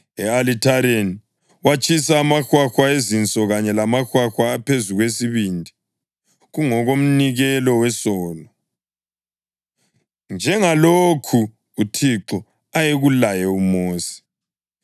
E-alithareni watshisa amahwahwa, izinso kanye lamahwahwa aphezu kwesibindi kungokomnikelo wesono, njengalokhu uThixo ayekulaye uMosi.